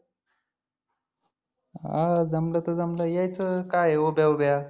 हा जमलं तर जमलं यायचं काय आहे उभ्या उभ्या.